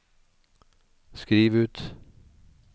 skriv ut